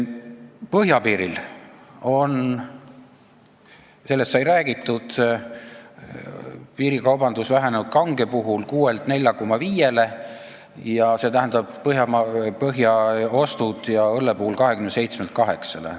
Põhjapiiril on, sellest sai räägitud, piirikaubandus vähenenud kange alkoholil puhul 6-lt 4,5-le ja õlle puhul 27-lt 8-le.